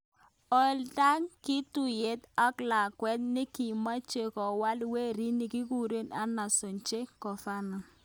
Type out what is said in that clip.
Olindak kituyat ak lakwet nikimeche kowal werit nikikikure Ernesto "Che" Guevara.